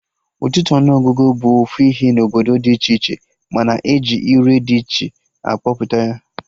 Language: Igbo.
Ọtụtụ ọnụ ọgụgụ bụ ofu ihe na obodo dị iche iche, mana eji ire dị iche akpọpụta ya